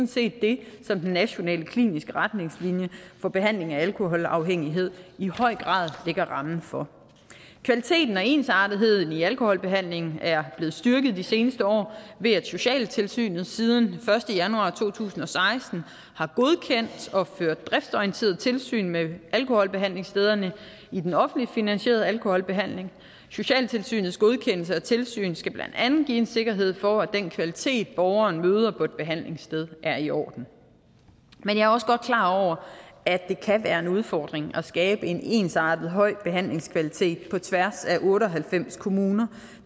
set det som den nationale kliniske retningslinje for behandling af alkoholafhængighed i høj grad lægger rammen for kvaliteten og ensartetheden i alkoholbehandlingen er blevet styrket de seneste år ved at socialtilsynet siden den første januar to tusind og seksten har godkendt og ført driftsorienteret tilsyn med alkoholbehandlingsstederne i den offentligt finansierede alkoholbehandling socialtilsynets godkendelse og tilsyn skal blandt andet give en sikkerhed for at den kvalitet borgeren møder på et behandlingssted er i orden men jeg er også godt klar over at det kan være en udfordring at skabe en ensartet høj behandlingskvalitet på tværs af otte og halvfems kommuner